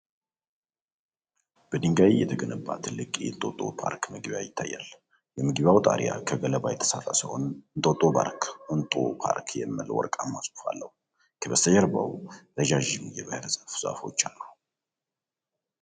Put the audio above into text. በድንጋይ የተገነባ ትልቅ የእንጦጦ ፓርክ መግቢያ ይታያል። የመግቢያው ጣሪያ ከገለባ የተሠራ ሲሆን፣ "እንጦጦ ፓርክ ENTO ፓርክ" የሚል ወርቃማ ጽሑፍ አለው። ከበስተጀርባ ረጃጅም የባሕር ዛፍ ዛፎች አሉ።